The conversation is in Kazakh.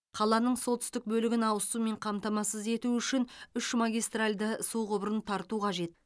қаланың солтүстік бөлігін ауыз сумен қамтамасыз ету үшін үш магистралды су құбырын тарту қажет